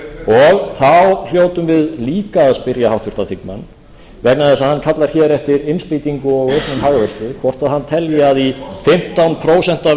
og þá hljótum við líka að spyrja háttvirtan þingmann vegna þess að hann kallar hér eftir innspýtingu og auknum hagvexti hvort hann telji að í fimmtán prósent